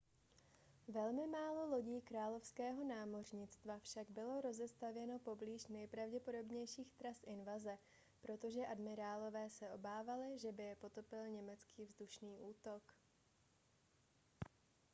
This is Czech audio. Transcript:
velmi málo lodí královského námořnictva však bylo rozestavěno poblíž nejpravděpodobnějších tras invaze protože admirálové se obávali že by je potopil německý vzdušný útok